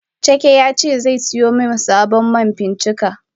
Chike yace zesiyo min sabon ma fincika.